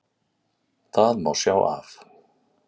Það má sjá af